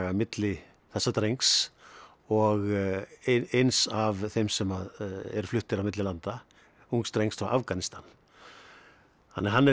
milli þessa drengs og eins af þeim sem eru fluttir á milli landa ungs drengs frá Afganistan þannig að hann er í